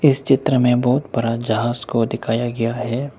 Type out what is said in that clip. इस चित्र में बहुत बड़ा जहाज को दिखाया गया है।